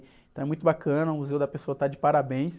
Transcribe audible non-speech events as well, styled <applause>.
Então é muito bacana, o <unintelligible> está de parabéns.